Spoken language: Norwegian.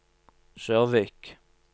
Sørvik